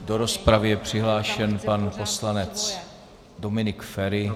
Do rozpravy je přihlášen pan poslanec Dominik Feri.